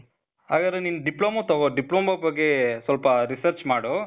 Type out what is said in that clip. ಹಾಗಾದ್ರೆ ನಿನ್ಗೆ ಡಿಪ್ಲೋಮಾ ತಗೋ , ಡಿಪ್ಲೋಮಾ ಬಗ್ಗೇ, ಸ್ವಲ್ಪ research ಮಾಡು.